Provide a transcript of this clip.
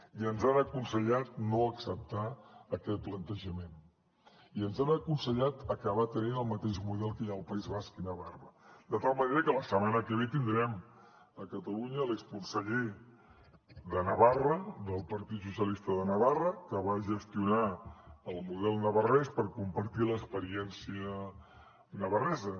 i ens han aconsellat no acceptar aquest plantejament i ens han aconsellat acabar tenint el mateix model que hi ha al país basc i navarra de tal manera que la setmana que ve tindrem a catalunya l’exconseller de navarra del partit socialista de navarra que va gestionar el model navarrès per compartir l’experiència navarresa